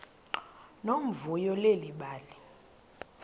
nomvuyo leli bali